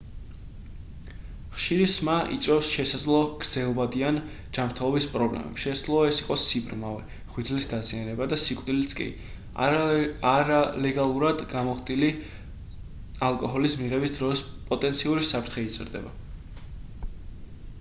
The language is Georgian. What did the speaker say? ხშირი სმა იწვევს შესაძლო გრძელვადიან ჯანმრთელების პრობლემებს შესაძლოა ეს იყოს სიბრმავე ღვიძლის დაზიანება და სიკვდილიც კი არალეგალურად გამოხდილი ალკოჰოლის მიღების დროს პოტენციური საფრთხე იზრდება